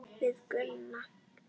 Við Gunni.